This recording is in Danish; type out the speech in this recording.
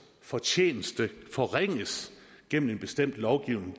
fortjeneste forringes gennem en bestemt lovgivning